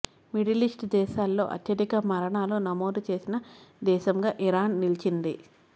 middle East దేశాల్లో అత్యధిక మరణాలు నమోదు చేసిన దేశంగా ఇరాన్ నిలిచింది